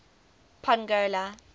pongola